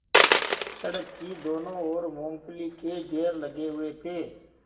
सड़क की दोनों ओर मूँगफली के ढेर लगे हुए थे